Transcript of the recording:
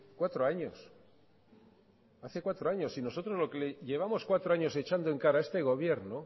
cuatro años hace cuatro años y nosotros lo que le llevamos cuatro años echando en cara a este gobierno